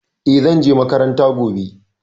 E, zan je makaranta gobe.